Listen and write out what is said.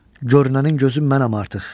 Görünənin gözü mənəm artıq.